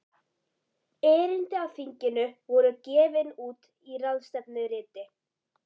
Erindi á þinginu voru gefin út í ráðstefnuriti.